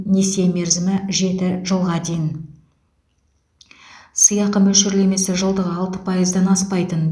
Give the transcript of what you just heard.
несие мерзімі жеті жылға дейін сыйақы мөлшерлемесі жылдығы алты пайыздан аспайтын